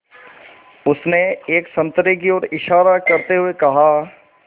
उसने एक संतरे की ओर इशारा करते हुए कहा